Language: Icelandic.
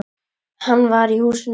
Hann var í húsinu.